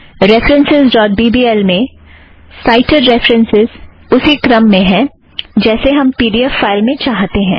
references dot B B L में cited references उसी क्रम में है जैसे हम पी ड़ी एफ़ फ़ाइल में चाहतें हैं